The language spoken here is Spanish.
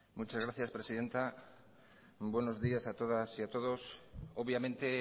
muchas gracias presidenta buenos días a todas y a todos obviamente